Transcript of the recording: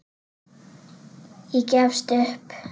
Ég gefst upp.